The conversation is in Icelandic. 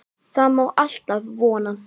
Það má alltaf vona.